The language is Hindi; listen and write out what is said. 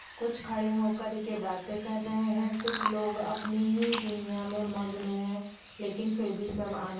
कुछ खड़े होकर के बातें कर रहे है कुछ लोग अपनी ही दुनियाँ में मगन है लेकिन फिर भी सब आना--